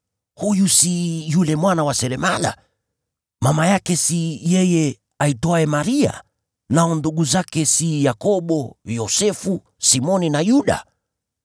“Huyu si yule mwana wa seremala? Mama yake si yeye aitwaye Maria, nao ndugu zake si Yakobo, Yosefu, Simoni na Yuda?